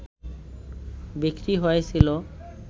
বিক্রি হয়েছিল